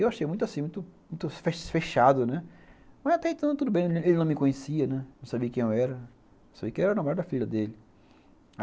E eu achei muito assim muito muito fechado, né, mas até então tudo bem, ele não me conhecia, né, não sabia quem eu era, só sabia que eu era o namorado da filha dele.